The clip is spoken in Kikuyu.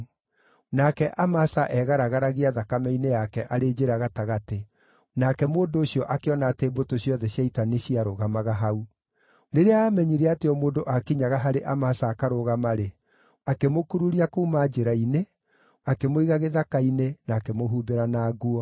Nake Amasa eegaragaragia thakame-inĩ yake arĩ njĩra gatagatĩ, nake mũndũ ũcio akĩona atĩ mbũtũ ciothe cia ita nĩciarũgamaga hau. Rĩrĩa aamenyire atĩ o mũndũ aakinyaga harĩ Amasa akarũgama-rĩ, akĩmũkururia kuuma njĩra-inĩ, akĩmũiga gĩthaka-inĩ, na akĩmũhumbĩra na nguo.